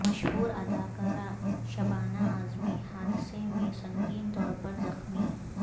مشہور اداکارہ شبانہ اعظمی حادثہ میں سنگین طور پر زخمی